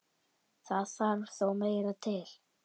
Það þarf þó meira til.